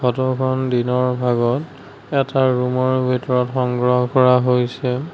ফটোখন দিনৰ ভাগত এটা ৰূমৰ ভিতৰত সংগ্ৰহ কৰা হৈছে।